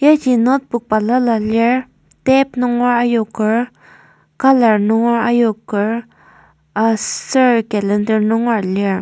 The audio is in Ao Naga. notebook balala lir tape nunger ayoker colour nunger ayoker aser calender nungera lir.